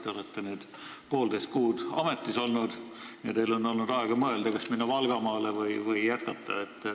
Te olete nüüd poolteist kuud ametis olnud ja teil on olnud aega mõelda, kas minna Valgamaale või jätkata.